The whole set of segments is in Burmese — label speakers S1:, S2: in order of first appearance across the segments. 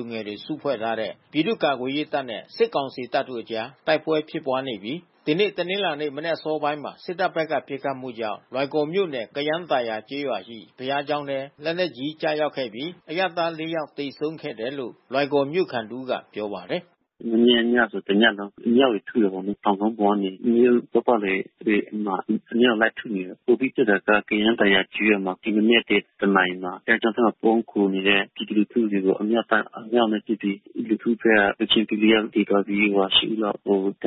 S1: ူငယ်တွေ စုဖွဲ့ထားတဲ့ ပြည်သူ့ကာကွယ်ရေးတပ်နဲ့ စစ်ကောင်စီတပ်တို အကြား တိုက်ပွဲဖြစ်ပွါးနေပြီး ဒီနေ့ တနင်္လာနေ့ မနက် အစောပိုင်းမှာ စစ်တပ်ဖက်က ပစ်ခတ်မှုကြောင့် လွိုင်ကော်မြို့နယ် ကယန်းသာယာကျေးရွာရှိ ဘုရားကျောင်းထဲ လက်နက်ကြီး ကျရောက်ခဲ့ပြီး အရပ်သား ၄ ယောက် သေဆုံးခဲ့တယ်လို့ လွိုင်ကော်မြို့ခံတဦးကပြောပါတယ်။ "မနေ့ကညဆို တညလုံး အမြှောက်တွေထုတယ်ပေါ့နော် ။ တောင်ကုန်းပေါ်ကနေ မြို့ပတ်ပတ်လည်တွေမှာ အမြောက်နဲ့လိုက်ထုနေတယ်။ ပိုပြီးဖြစ်တာက ကယန်းသာယာကျေးရွာက ဒီမနက် နာရီမှာ ဘုရားကျောင်းထဲ မှာပုန်းခိုနေတဲ့ ပြည်သူလူထုတွေကိုအမြောက်တပ်ကအမြောက်နဲ့ ထုပြီး ပြည်သူလူထုဘက်က ပွဲချင်းပြီး ယောက် သေသွားပြီး ဦးလောက်ဒဏ်ရာရရှိသွားတ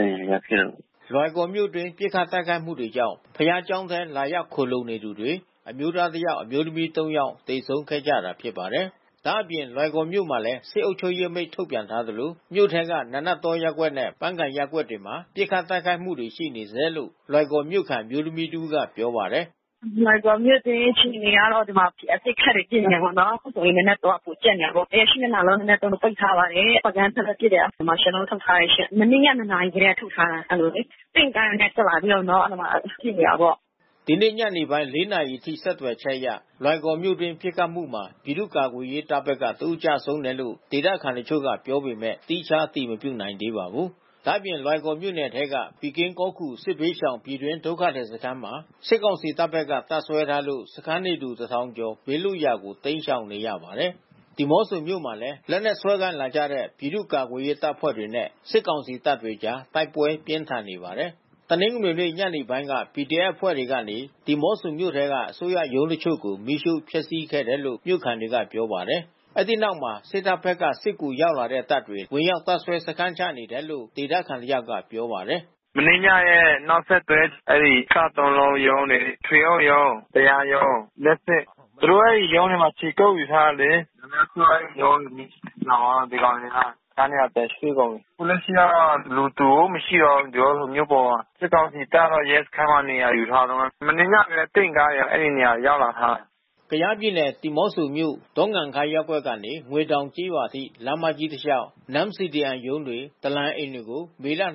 S1: ယ်" လွိုင်ကော်မြို့နယ်အတွင်း ပစ်ခတ်တိုက်ခိုက်မှုတွေကြောင့် ဘုရားကျောင်းထဲ လာရောက်ခိုလှုံနေသူတွေ အမျိုးသား ၁ ယောက်၊ အမျိုးသမီး ၃ ယောက် သေဆုံးခဲ့ကြတာဖြစ်ပါတယ်။ ဒါ့အပြင်လွိုင်ကော်မြို့မှာလဲ စစ်အုပ်ချုပ်ရေးအမိန့်ထုတ်ပြန်ထားသလို မြို့ထဲက နာနတ်တောရပ်ကွက်နဲ့ ပန်းကန်ရပ်ကွက်တွေမှာ ပစ်ခတ်တိုက်ခိုက်မှုတွေရှိနေဆဲလို့ လွိုင်ကော်မြို့ခံ အမျိုးသမီးတဦးကပြောပါတယ်။ "လွိုင်ကော်မြို့တွင်း အခြေအနေကတော့ ဒီမှာအပစ်အခတ်တွေဖြစ်နေတယ်ပေါ့နော်။ အခုနာနတ်တောကပိုကြပ်နေတာပေါ့နော်။ အရပ် မျက်နှာလုံး နာနတ်တောကို ပိတ်ထားပါတယ်။ ပန်းကန်းဘက်လဲပစ်တယ်။ Martial Law ထုတ်ထားတယ်ရှင့် ။ မနေ့ည နာရီကတည်းကထုတ်ထားတာ။ အဲဒီလိုလေ။ တင့်ကားတွေနဲ့ထွက်လာပြီးတော့နော် အဲဒီမှာပစ်နေတာပေါ့" ဒီနေ့ ညနေပိုင်း နာရီအထိဆက်သွယ်ချက်အရ လွိုင်ကော်မြို့တွင်းပစ်ခတ်မှုမှာ ပြည်သူ့ကာကွယ်ရေးတပ်ဘက်က တဦးကျဆုံးတယ်လို့ ဒေသခံတချို့က ပြောပေမဲ့သီးခြားအတည်မပြုနိုင်သေးပါဘူး။ ဒါ့အပြင်လွိုင်ကော်မြို့နယ်ထဲက ပီကင်းကောခူ စစ်ဘေးရှောင် ပြည်တွင်း ဒုက္ခသည်စခန်းမှာ စစ်ကောင်စီတပ်ဖက်က တပ်စွဲထားလို့ စခန်း နေသူ တထောင်ကျော် ဘေးလွတ်ရာကို တိမ်းရှောင်နေရပါတယ်။ ဒီမောဆိုမြို့မှာလည်း လက်နက်စွဲကိုင်လာကြတဲ့ပြည်သူ့ကာကွယ်ရေးအဖွဲ့တွေနဲ့ စစ်ကောင်စီ တပ်တို့အကြား တိုက်ပွဲပြင်းထန်နေပါတယ်။ တနင်္ဂနွေနေ့ ညနေပိုင်းက PDF အဖွဲ့တွေက ဒီမောဆိုမြို့ထဲက အစိုးရရုံးတချို့ကို မီးရှို့ဖျက်စီးခဲ့တယ်လို့ မြို့ခံတွေက ပြောပါတယ်။ အဲဒီနောက် စစ်တပ်ဖက်က စစ်ကူရောက်လာတဲ့ တပ်တွေ ဝင်ရောက်တပ်စွဲ စခန်းချနေတယ်လို့ ဒေသခံတယောက်က ပြောပါတယ်။ "မနေ့ညရဲ့နောက်ဆက်တွဲ စသုံးလုံးရုံးရယ်။ ထွေအုပ်ရုံး တရားရုံး လျှပ်စစ် သူတို့အဲဒီရုံးမှာခြေကုတ်ယူထားတယ်လေ။ အများစုအဲဒီရုံးတွေမီးလောင်သွားတော့ ဒီကောင်တွေက တခြားနေရာရွှေ့ကုန်တယ်။ အခုလက်ရှိကတော့ လူသူကိုမရှိတော့ဘူးကျွန်တော်တို့မြို့ပေါ်မှာ။ စစ်ကောင်စီတပ်ကတော့ရဲစခန်းမှာနေရာယူထားတုန်း။ မနေ့ညတုန်း က တင့်ကားတွေအဲဒီနေရာကိုရောက်လာထားတာ" ကယားပြည်နယ် ဒီမော့ဆိုမြို့ ဒေါင်ခါးရပ်ကွက်ကနေ ငွေတောင်ကျေးရွာထိ လမ်းမကြီးတစ်လျှောက် Non-CDM ရုံးတွေ ဒလန်အိမ်တွေကို ယနေ့ မေလ ရက်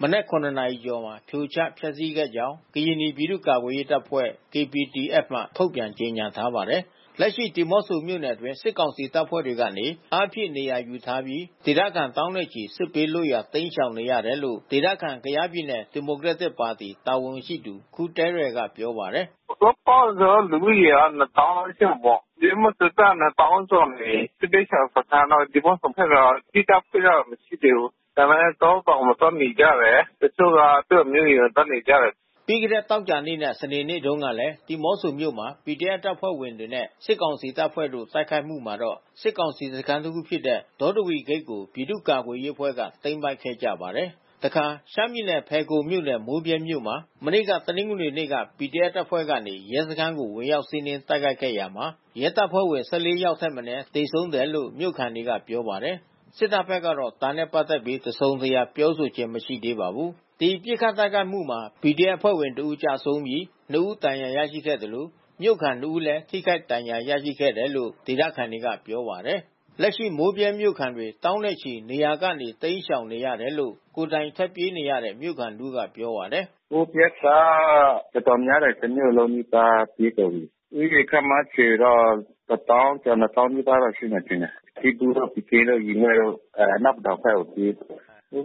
S1: မနက် နာရီကျော်မှာ ဖြိုချဖျက်ဆီးခဲ့ကြောင်း ကရင်နီပြည်သူ့ ကာကွယ်ရေးတပ်ဖွဲ့ KPDF မှ ထုတ်ပြန်ကြေညာထားပါတယ်။ လက်ရှိဒီမောဆိုမြို့အတွင်း စစ်ကောင်စီတပ်ဖွဲ့တွေကနေ အားဖြည့်နေရာယူထားတာပြီး ဒေသခံသောင်းနဲ့ချီ စစ်ဘေးလွတ်ရာတိမ်းရှောင်နေရတယ်လို့ ဒေသခံကယားပြည်နယ်ဒီမိုကရက်တစ်ပါတီတာဝန်ရှိသူ ခူသဲရယ် ကပြောပါတယ်။ "စုစုပေါင်းလူဦးရေက သောင်းလောက်ရှိတာပေါ့။ ဒီမော့ဆိုသက်သက်က သောင်းကျော်နေပြီး။ စစ်ဘေးရှောင် စခန်းတော့ ဒီမော့ဆိုဘက်မှာ သီးသန့်ဖွင့်ထားတာမရှိသေးဘူး။ ဒါပေမဲ့တောတောင်မှာသွားနေကြတယ်။ တချို့က သူ့အမျိုးအိမ်မှာသွားနေကြတယ်" ပြီးခဲ့တဲ့သောကြာနေ့နဲ့စနေနေ့တုန်းကလဲ ဒီမော့ဆိုမြို့မှာ PDF တပ်ဖွဲ့တွေနဲ့စစ်ကောင်စီတပ်ဖွဲ့တို့ ပစ်ခတ် တိုက်ခိုက် မှုမှာတော့ စစ်ကောင်စီစခန်းတခု ဖြစ်တဲ့ ဒေါတဝီဂိတ် ကို ပြည်သူ့ကာကွယ် အဖွဲ့ကသိမ်းပိုက်ခဲ့ကြပါတယ်။ တခါ ရှမ်းပြည်နယ် ဖယ်ခုံမြို့နယ် မိုးဗြဲမြို့မှာ မနေ့က တနင်္ဂနွေနေ့က PDFအဖွဲ့ကနေ ရဲစခန်းကို ဝင်ရောက် စီးနင်း တိုက်ခိုက်ခဲ့ ရာမှာ ရဲတပ်ဖွဲ့ဝင် ၁၄ ယောက်ထက်မနည်း သေဆုံးတယ်လို့ မြို့ခံတွေက ပြောပါတယ်။ စစ်တပ်ဖက်ကတော့ ဒါနဲ့ပါတ်သက်လို့ တစုံတရာ ပြောခြင်း မရှိသေးပါဘူး။ ဒီပစ်ခတ်တိုက်ခိုက်မှုမှာ PDF အဖွဲ့ဝင်တဦး ကျဆုံးပြီး ဦးဒဏ်ရာရရှိသလို မြို့ခံ ဦးလဲ ထိခိုက်ဒဏ်ရာရရှိခဲ့တယ်လို့ေးသခံတွေကဆိုပါတယ်။ လက်ရှိမိုးဗြဲမြို့ခံတွေသောင်းနဲ့ချီနေရာကနေတိမ်းရှောင်နေရတယ်လို့ ကိုယ်တိုင်ထွက်ပြေးနေရတဲ့ မြို့ခံတဦးက ပြောပါတယ်။ "မိုးဗြဲကတော်တော်များတယ်။ တမြို့လုံးနီးပါးပြေးကုန်ပြီး။ လူဦးရေခန့်မှန်းခြေတော့ တသောင်းကျော် နှစ်ေသောင်း နီးပါး တော့ရှိမယ်ထင်တယ်။ စီးပူးတို့ ပီကင်းတို့ ရေလဲ့တို့အနောက်ပဒေါင်ဘက်ကိုပြေး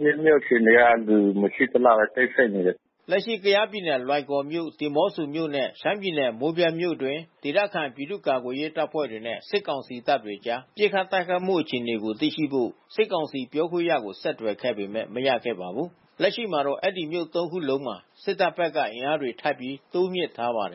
S1: နေတယ်။ မိုးဗြဲမြို့အခြေ အနေကလူမရှိသလောက် တိတ်ဆိတ်နေတယ်" လက်ရှိကယားပြည်နယ် လွိုင်ကော်မြို့၊ ဒီမောဆိုမြို့နဲ့ ရှမ်းပြည်နယ် မိုးဗြဲမြို့တွင်း ဒေသခံပြည့်သူ့ကာကွယ်ရေးအဖွဲ့တွေနဲ့ စစ်ကောင်စီတပ်တို့ အကြား ပစ်ခတ်တိုက်ခိုက်မှုအခြေအနေကိုသိရှိဖို့ စစ်ကောင်စီပြောခွင့်ရကိုဆက်သွယ်ခဲ့ပေမဲ့မရခဲ့ပါဘူး။ လက်ရှိမှာတော့ အဲဒီမြို့ ၃ ခုလုံးမှာ စစ်တပ်ဘက်က အင်အားတွေ ထပ်ပြီးတိုးမြှင့်ထားပါတယ်